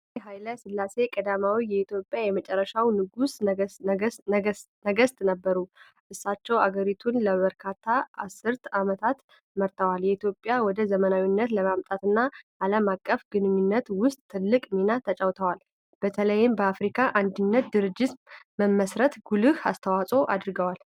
አጼ ኃይለ ሥላሴ ቀዳማዊ የኢትዮጵያ የመጨረሻው ንጉሠ ነገሥት ነበሩ። እሳቸው አገሪቱን ለበርካታ አስርት ዓመታት መርተዋል፤ ኢትዮጵያን ወደ ዘመናዊነት ለማምጣትና ዓለም አቀፍ ግንኙነት ውስጥ ትልቅ ሚና ተጫውተዋል። በተለይም ለአፍሪካ አንድነት ድርጅት መመስረት ጉልህ አስተዋጽኦ አድርገዋል።